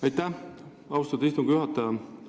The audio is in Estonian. Aitäh, austatud istungi juhataja!